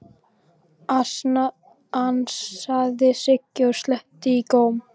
ansaði Siggi og sletti í góm.